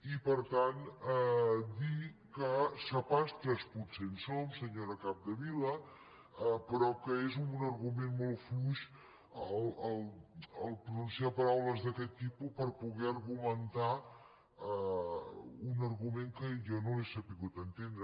i per tant dir que sapastres potser en som senyora capdevila però que és un argument molt fluix pronunciar paraules d’aquest tipus per poder argumentar un argument que jo no l’he sabut entendre